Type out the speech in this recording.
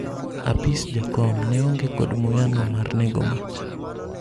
Apis jakom ne onge kod muya no mar nego mach